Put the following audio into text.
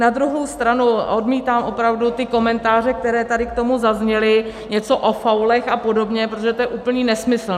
Na druhou stranu odmítám opravdu ty komentáře, které tady k tomu zazněly, něco o faulech a podobně, protože to je úplný nesmysl.